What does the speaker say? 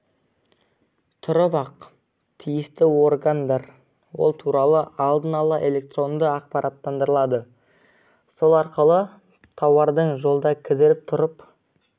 тұрып ақ тиісті органдар ол туралы алдын-ала электронды ақпараттандырылады сол арқылы тауардың жолда кідіріп тұрып